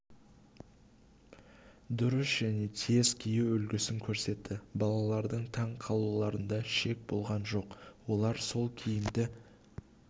дұрыс және тез кию үлгісін көрсетті балалардың таң қалуларында шек болған жоқ олар сол киімді